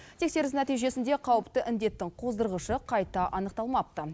тексеріс нәтижесінде қауіпті індеттің қоздырғышы қайта анықталмапты